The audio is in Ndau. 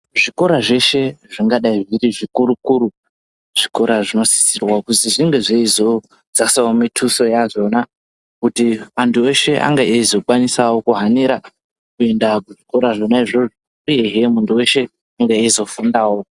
Zvikora zveshe zvingadai zviri zvikuru-kuru zvikora zvinosisirwa kuzi zvinge zveizodzasawo mituso yazvona kuti antu eshe ange eizokwanisawo kuhanira kuenda kuzvikora zvona izvozvo uhehe muntu weshe ange eizofundawo.